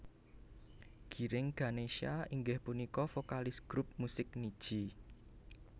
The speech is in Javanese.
Giring Ganesha inggih punika vokalis grup musik Nidji